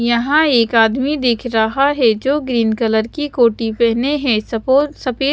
यहां एक आदमी देख रहा है जो ग्रीन कलर की कोटि पहने हैं सपोर्ट सफेद।